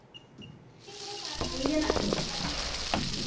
இங்கே கூட பரவலா கிணத்துல தண்ணி இருக்கு.